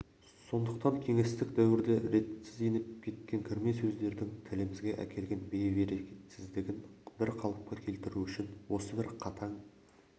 сондықтан кеңестік дәуірде ретсіз еніп кеткен кірме сөздердің тілімізге әкелген бейберекетсіздігін бір қалыпқа келтіру үшін осы бір қатаң